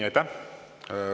Aitäh!